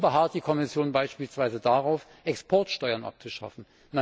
Warum beharrt die Kommission beispielsweise darauf, Exportsteuern abzuschaffen?